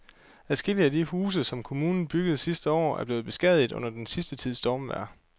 Adskillige af de huse, som kommunen byggede sidste år, er blevet beskadiget under den sidste tids stormvejr.